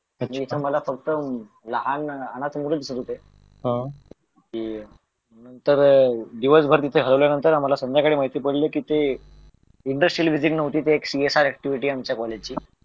जिथं मला फक्त लहान अनाथ मुळेच दिसत होती तर दिवसभर तिथे ठेवल्यानंतर संध्याकाळी माहिती पडलं इंडस्ट्रियल व्हिजिट नव्हती ती एक CSR ऍक्टिव्हिटी होती आमच्या कॉलेजची